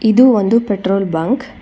ಇದು ಒಂದು petrol bunk .